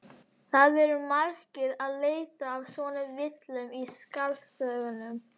Það eru margir að leita að svona villum í skáldsögum.